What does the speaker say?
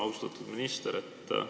Austatud minister!